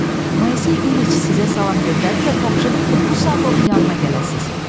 Moisey İliç sizə salam göndərdi və tapşırdı ki, bu saat onun yanına gələsiniz.